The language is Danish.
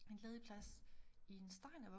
En ledig plads i en steinervug